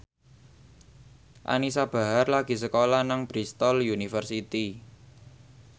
Anisa Bahar lagi sekolah nang Bristol university